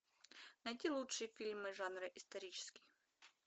найти лучшие фильмы жанра исторический